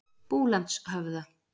Búlandshöfða